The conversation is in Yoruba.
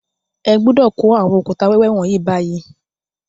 Ẹ gbọ́dọ̀ kó àwọn òkúta wẹ́wẹ́ wọ̀nyí báyìí